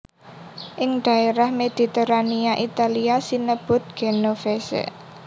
Ing dhaérah Mediterania Italia sinebut genovese